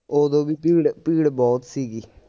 ਓਦੋਂ ਵੀ ਭੀੜ ਭੀੜ ਬਹੁਤ ਸੀਗੀ